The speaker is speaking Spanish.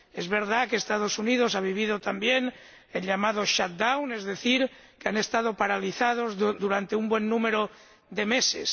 Es verdad que los Estados Unidos han vivido también el llamado shutdown es decir, que han estado paralizados durante un buen número de meses.